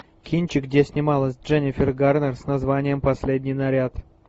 кинчик где снималась дженнифер гарнер с названием последний наряд